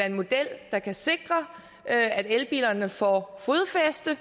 en model der kan sikre at elbilerne får fodfæste